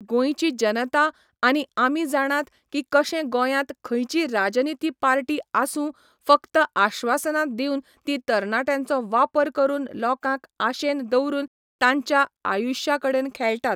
गोंयची जनता आनी आमी जाणात की कशें गोंयांत खंयची राजनिती पार्टी आसूं फक्त आश्वासनां दिवन ती तरण्याट्यांचो वापर करून लोकांक आशेन दवरून तांच्या आयुश्या कडेन खेळटात